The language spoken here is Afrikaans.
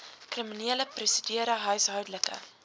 kriminele prosedure huishoudelike